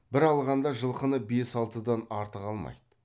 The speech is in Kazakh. бір алғанда жылқыны бес алтыдан артық алмайды